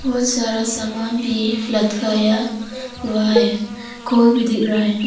बहुत सारा सामान भी लटकाया हुआ है कोल भी दिख रहा है।